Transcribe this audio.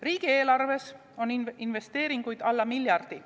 Riigieelarves on investeeringuid alla miljardi.